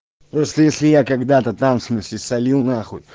просто если я когда-то там в смысле солил нахуй